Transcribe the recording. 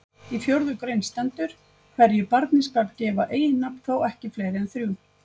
Í fjórðu grein stendur: Hverju barni skal gefa eiginnafn, þó ekki fleiri en þrjú